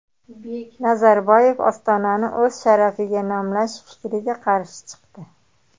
Nazarboyev Ostonani o‘z sharafiga nomlash fikriga qarshi chiqdi.